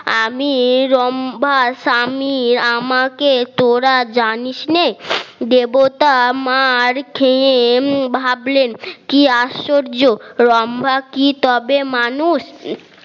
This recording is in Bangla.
আমি লম্বা স্বামী আমাকে তোরা জানিস নে দেবতা মার খেয়ে ভাবলেন কি আশ্চর্য লম্বা কি তবে মানুষ